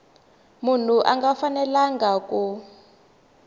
munhu a nga fanelanga ku